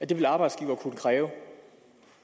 det vil arbejdsgivere kunne kræve